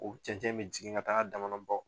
U cɛncɛn me jigin ka taga a dama na bɔ